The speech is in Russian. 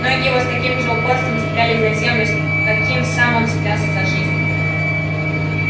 ноги его с таким же упорством цеплялись за землю с каким сам он цеплялся за жизнь